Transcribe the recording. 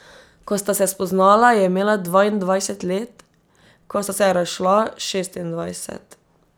Ko sta se spoznala, je imela dvaindvajset let, ko sta se razšla, šestindvajset.